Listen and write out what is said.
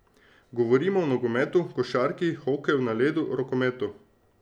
Govorimo o nogometu, košarki, hokeju na ledu, rokometu...